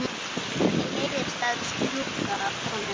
Henni leiðist að strjúka honum.